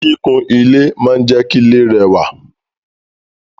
Kikun ile maa n je ki ile rewa